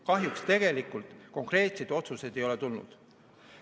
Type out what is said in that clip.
Kahjuks tegelikult konkreetseid otsuseid ei ole tulnud.